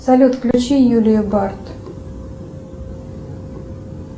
салют включи юлию бард